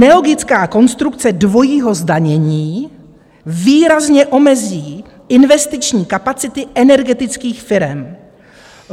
Nelogická konstrukce dvojího zdanění výrazně omezí investiční kapacity energetických firem.